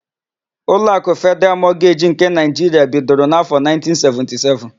Ụlọakụ Fedịral Mọgeji nke Naịjiria bidoro n'áfọ,1977.